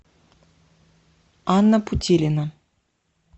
анна путилина